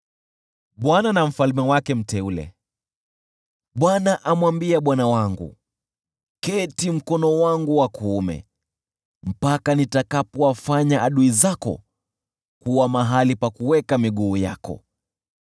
Bwana amwambia Bwana wangu: “Keti mkono wangu wa kuume, mpaka nitakapowafanya adui zako kuwa mahali pa kuweka miguu yako.”